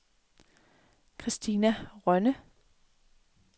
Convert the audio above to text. Kristina Rønne